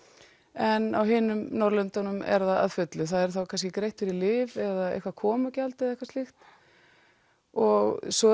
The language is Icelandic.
en á hinum Norðurlöndunum er það að fullu það er þá kannski greitt fyrir lyf eða eitthvað komugjald eða eitthvað slíkt og svo